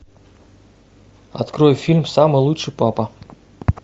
открой фильм самый лучший папа